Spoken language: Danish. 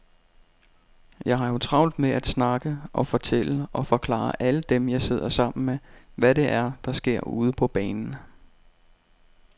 Jeg har jo travlt med at snakke og fortælle og forklare alle dem, jeg sidder sammen med, hvad det er, der sker ude på banen.